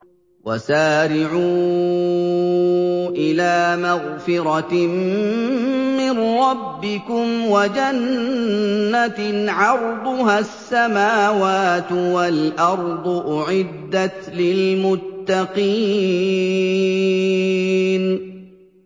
۞ وَسَارِعُوا إِلَىٰ مَغْفِرَةٍ مِّن رَّبِّكُمْ وَجَنَّةٍ عَرْضُهَا السَّمَاوَاتُ وَالْأَرْضُ أُعِدَّتْ لِلْمُتَّقِينَ